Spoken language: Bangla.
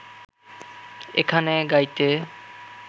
এখানে গাইতে